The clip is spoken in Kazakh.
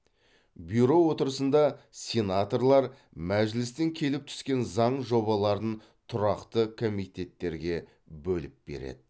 бюро отырысында сенаторлар мәжілістен келіп түскен заң жобаларын тұрақты комитеттерге бөліп береді